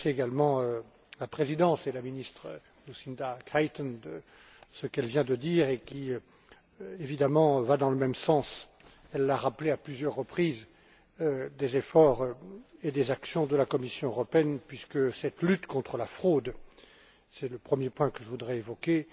Je remercie également la Présidence et la ministre Lucinda Creighton, pour ce qu'elle vient de dire et qui, évidemment, va dans le même sens elle l'a rappelé à plusieurs reprises que les efforts et les actions de la Commission, puisque cette lutte contre la fraude c'est le premier point que je voudrais évoquer